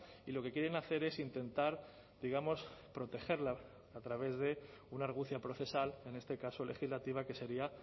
y lo que quieren hacer es intentar digamos protegerla a través de una argucia procesal en este caso legislativa que sería